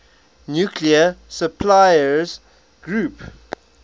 nuclear suppliers group